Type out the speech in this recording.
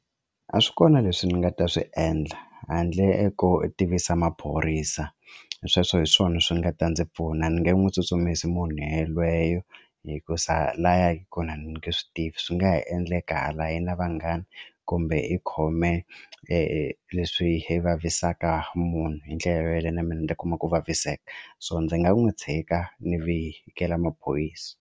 A swi kona leswi ni nga ta swi endla handle ko tivisa maphorisa sweswo hi swona swi nga ta ndzi pfuna ni nge n'wi tsutsumisi munhu yelweyo hikuza laya kona ni nge swi tivi swi nga ha endleka hala i na vanghani kumbe ikhome leswi vavisaka munhu hi ndlela yaleyo na mina ndzi kuma ku vaviseka so ndzi nga n'wi tshika ni vikela maphorisa.